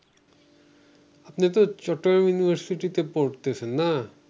আপনিতো চট্টগ্রাম ইউনিভার্সিটিতে পড়তেছেন না